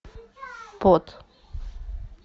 пот